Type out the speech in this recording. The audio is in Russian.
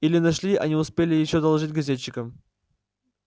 или нашли а не успели ещё доложить газетчикам